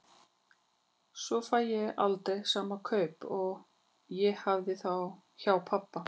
Svo fæ ég aldrei sama kaup og ég hafði hjá pabba.